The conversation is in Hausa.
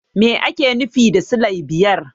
Me ake nufi da silai biyar?